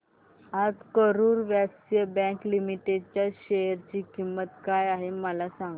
आज Karur Vysya bank limited च्या share ची किंमत काय आहे मला सांगा